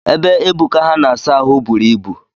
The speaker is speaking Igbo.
Ebe Ebuka ha na-asa ahụ buru ibu